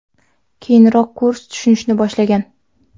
Keyinroq kurs tushishni boshlagan.